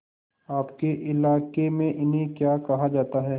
आपके इलाके में इन्हें क्या कहा जाता है